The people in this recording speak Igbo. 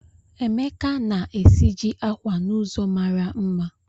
Emeka na-esiji akwa n'ụzọ mara mma